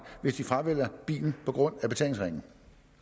hvis de fravælger bilen på grund af betalingsringen